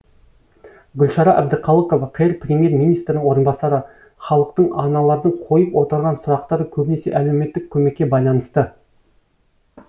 гүлшара әбдіқалықова қр премьер министрінің орынбасары халықтың аналардың қойып отырған сұрақтары көбінесе әлеуметтік көмекке байланысты